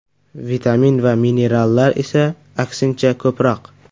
Vitamin va minerallar esa, aksincha, ko‘proq.